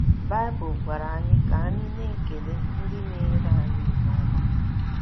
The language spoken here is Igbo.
Baịbụl gwara anyi ka anyị na - ekele ndị meere anyị ihe ọma.